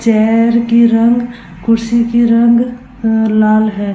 Chair की रंग कुर्सी की रंग अ लाल है।